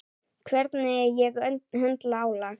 Hvernig ég höndla álag.